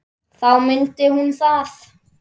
Þá mundi hún það.